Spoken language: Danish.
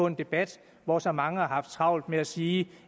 en debat hvor så mange har haft travlt med at sige